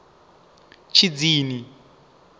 tshidzini